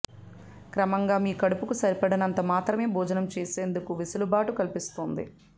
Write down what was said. క్రమంగా మీ కడుపుకు సరిపడినంత మాత్రమే భోజనం చేసేందుకు వెసులుబాటు కల్పిస్తుంది